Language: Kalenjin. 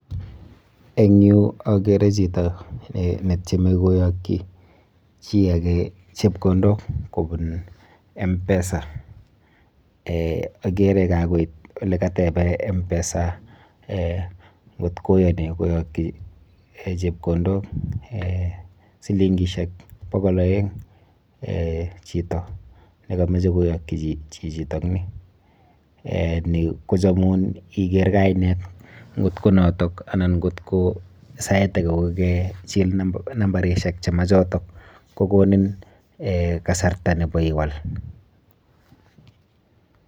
Eng yu akere chito netyeme koyokchi chi ake chepkondok kobun M-PESA. Eh akere kakoit olekatebe M-PESA eh nkot koyoni koyokyi chepkondok eh silinkishek bokol oeng eh chito nekamoche koyokchi chichitokni . Eh ni kochomun iker kainet nkot ko noto anan nkot ko sait ake ko kechil nambarishek che machoto kokonin eh kasarta nepo iwal.